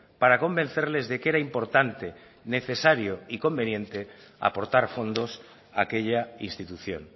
para convencerles de que era importante necesario y conveniente aportar fondos a aquella institución